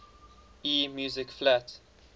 e music flat